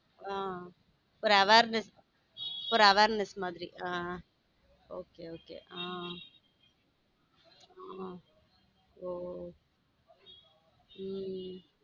ஹம் ஒரு awareness ஒரு awareness மாதிர ஹம் okay okay ஹம் ஓஹ உம்